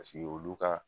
Paseke olu ka